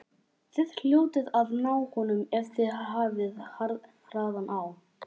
Þið hljótið að ná honum ef þið hafið hraðan á.